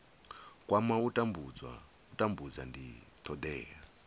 kwama u tambudza ndi thodea